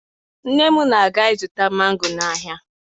Nne m na-aga ịzụta mango n'ahịa